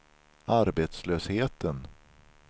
arbetslösheten